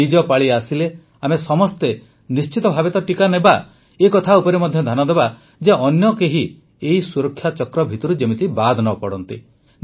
ନିଜ ପାଳି ଆସିଲେ ଆମେ ସମସ୍ତେ ନିଶ୍ଚିତ ଭାବେ ଟିକା ତ ନେବା ଏହି କଥା ଉପରେ ମଧ୍ୟ ଧ୍ୟାନ ଦେବା ଯେ ଅନ୍ୟ କେହି ଏହି ସୁରକ୍ଷାଚକ୍ର ଭିତରୁ ବାଦ୍ ନ ପଡ଼େ